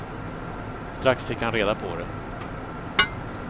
Strax fick han reda på det.